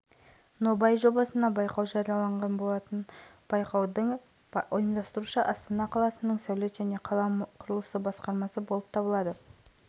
материалдары бар конверттерді ашқан соң байқаудың қазылар алқасы жобаның үздік нобай-идеясын іріктейтін болады жеңімпаздар онлайн-дауыс берудің